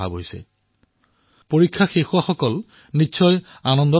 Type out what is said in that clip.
যিসকলৰ পৰীক্ষা শেষ হৈছে তেওঁলোকৰ আনন্দ